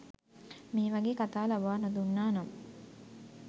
මේ වගේ කතා ලබා නොදුන්නා නම්